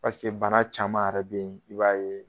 bana caman yɛrɛ be ye i b'a ye